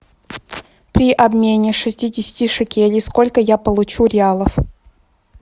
при обмене шестидесяти шекелей сколько я получу реалов